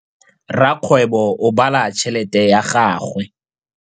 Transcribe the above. Rakgwêbô o bala tšheletê ya gagwe.